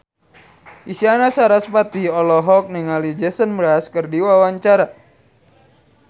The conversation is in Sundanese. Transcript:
Isyana Sarasvati olohok ningali Jason Mraz keur diwawancara